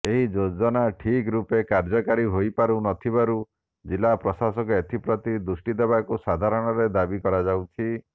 ଏହି ଯୋଜନା ଠିକ୍ ରୂପେ କାର୍ଯ୍ୟକାରୀ ହୋଇପାରୁନଥିବାରୁ ଜିଲ୍ଲାପ୍ରଶାସନ ଏଥିପ୍ରତି ଦୃଷ୍ଟି ଦେବାକୁ ସାଧାରଣରେ ଦାବି କରାଯାଇଛି